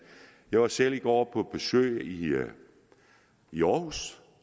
jeg var selv i går på besøg i i aarhus